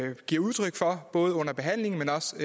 har givet udtryk for både under behandlingen men også